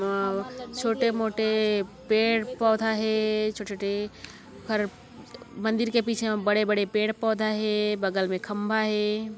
अ छोटे-मोटे पेड़ पौधा हे छोटे-छोटे मंदिर के पीछे मे बड़े-बड़े पेड़ पौधा हे बगल मैं खंबा हे।